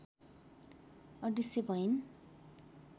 अदृश्य भइन्